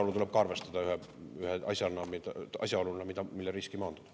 Seda tuleb ka arvestada ühe asjaoluna, mille riski maandada.